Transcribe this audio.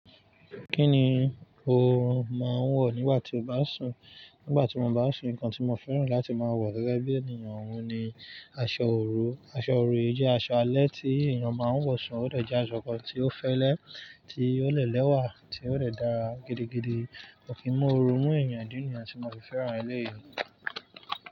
Kí ni o máa ń wọ̀ nígbà tí o bá sùn? Nígbà tí mo bá sùn nǹkan tí mo fẹ́ràn láti máa wọ̀ gẹ́gẹ́ bí ènìyàn wù ní aṣọ òru. Aṣọ òru jẹ́ aṣọ alẹ́ tí ènìyàn máa ń wọ̀ sùn, ó dèjẹ́ aṣọ kan tí ó fẹ́lẹ́, tí ó lè lẹ́wà, tí ó dè dára gidigidi. Kò kìn mú òórù mú ènìyàn, ìdí nìyẹn tó mo fi fẹ́ràn eléyìí.